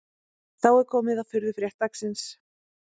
Þá er komið að furðufrétt dagsins